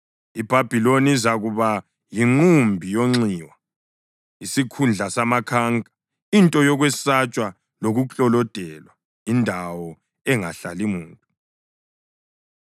IBhabhiloni izakuba yinqumbi yonxiwa, isikhundla samakhanka, into yokwesatshwa lokuklolodelwa, indawo engahlali muntu.